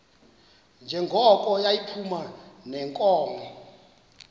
njengoko yayiphuma neenkomo